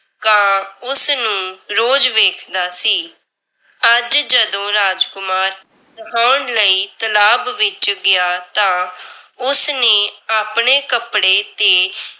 ਕਾਂ ਉਸ ਨੂ ਰੋਜ਼ ਵੇਖਦਾ ਸੀ । ਅੱਜ ਜਦੋਂ ਰਾਜਕੁਮਾਰ ਨਹਾਉਣ ਲਈ ਤਲਾਬ ਵਿੱਚ ਗਿਆ ਤਾਂ ਉਸ ਨੇ ਆਪਣੇ ਕੱਪੜੇ ਤੇ